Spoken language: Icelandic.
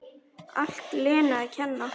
Allt Lenu að kenna!